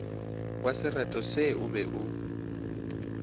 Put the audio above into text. wasereto se o be o